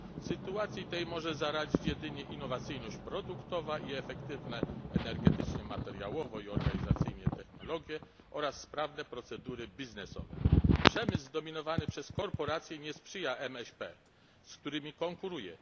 Sytuacji tej może zaradzić jedynie innowacyjność produktów i efektywne energetycznie, materiałowo i organizacyjnie technologie oraz sprawne procedury biznesowe. Przemysł zdominowany przez korporacje nie sprzyja MŚP, z którymi konkuruje.